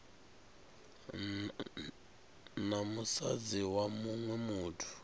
na musadzi wa muṅwe muthu